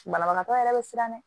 Banabagatɔ yɛrɛ bɛ siran dɛ